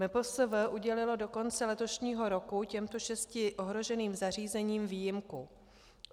MPSV udělilo do konce letošního roku těmto šesti ohroženým zařízením výjimku.